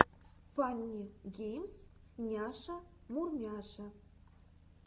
фанни геймс няша мурмяша